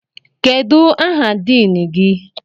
Kedụ aha diin gị?